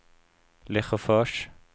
Lesjöfors